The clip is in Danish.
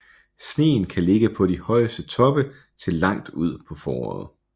Sneen kan ligge på de højeste toppe til langt ud på foråret